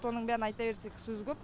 соның бәрін айта берсек сөз көп